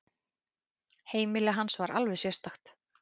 Heimili hans var alveg sérstakt.